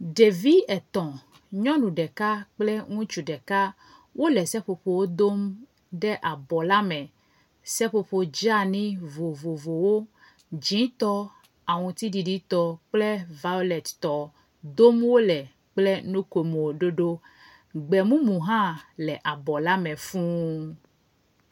Ɖevi etɔ̃, nyɔnu ɖeka kple ŋutsu ɖeka wole seƒoƒowo dom ɖe abɔ la me. Seƒoƒo dzani vovovowo, dzɛ̃tɔ, aŋutiɖiɖitɔ kple vawlettɔ dom wole kple nukomo ɖoɖo. Gbemumu hã le abɔ la me fuu.